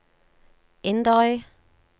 Inderøy